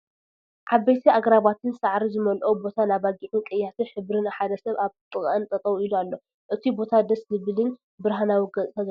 ዓበይቲ ኣግራባትን ሳዕሪ ዝመለኦ ቦታን ኣባጊዕን ቀያሕቲ ሕብረን ሓደ ሰብ ኣብ ጥቀኣን ጠጠው ኢሊ ኣሎ ።እቱይ ቦታ ደስ ዝብልን ብርሃናዊ ገፅታ ዘለዎ እዩ።